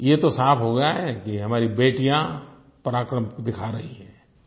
ये तो साफ़ हो गया है कि हमारी बेटियाँ पराक्रम दिखा रही हैं